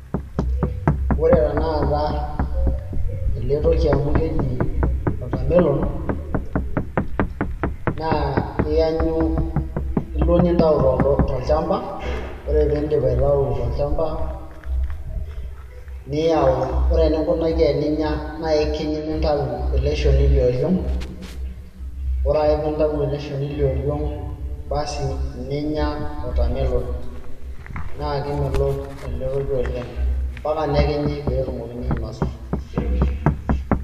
ore tenakata ele toki amu keji watermelon naa iyanyu, ilo nintau tolchamba ore piindip aitau tolchamba niyau, ore eninkunaki eninya naa ikiny nintau ele shoni lioriong ore ake piintau ele shoni lioriong basi ninya watermelon naa kemelok ele toki oleng ampaka nekinyi peetumokini ainosa.